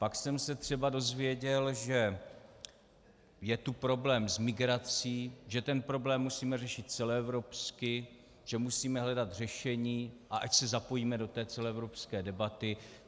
Pak jsem se třeba dozvěděl, že je tu problém s migrací, že ten problém musíme řešit celoevropsky, že musíme hledat řešení a ať se zapojíme do té celoevropské debaty.